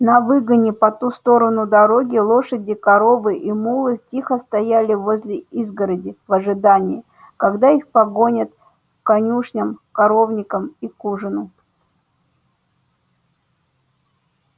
на выгоне по ту сторону дороги лошади коровы и мулы тихо стояли возле изгороди в ожидании когда их погонят к конюшням коровникам и к ужину